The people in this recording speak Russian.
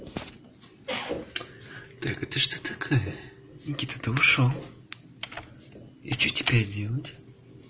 так это что такое никита ты ушёл и что теперь делать